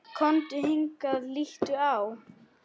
Komdu hingað, líttu á!